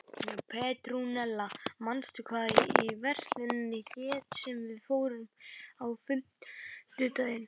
Petrúnella, manstu hvað verslunin hét sem við fórum í á fimmtudaginn?